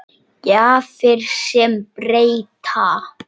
Gjafir sem breyta.